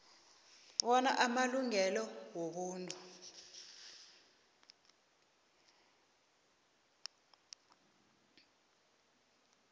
bona amalungelo wobuntu